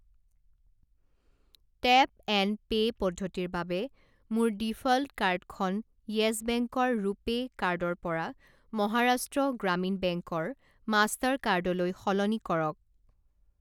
Tap and pay পদ্ধতিৰ বাবে মোৰ ডিফ'ল্ট কাৰ্ডখন য়েছ বেংকৰ ৰুপে' কাৰ্ডৰ পৰা মহাৰাষ্ট্ৰ গ্ৰামীণ বেংক ৰ মাষ্টাৰ কাৰ্ড লৈ সলনি কৰক।